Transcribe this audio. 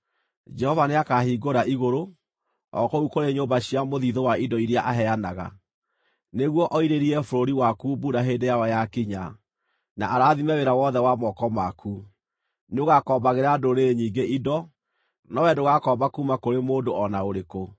Jehova nĩakahingũra igũrũ, o kũu kũrĩ nyũmba cia mũthiithũ wa indo iria aheanaga, nĩguo oirĩrie bũrũri waku mbura hĩndĩ yayo yakinya, na arathime wĩra wothe wa moko maku. Nĩũgakombagĩra ndũrĩrĩ nyingĩ indo, no wee ndũgakomba kuuma kũrĩ mũndũ o na ũrĩkũ.